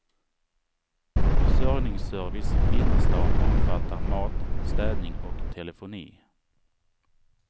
Försörjningsservice innerstan omfattande mat, städning och telefoni.